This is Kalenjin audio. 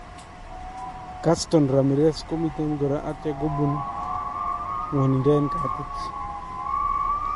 Gaston Ramirez komiten koraa atya kobuun ng'waninda en katiit